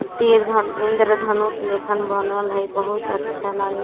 तीर धन इंद्रधनुष लेखन बनल हेय बहुत अच्छा लगाइत हेय।